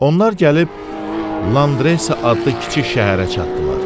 Onlar gəlib Landresa adlı kiçik şəhərə çatdılar.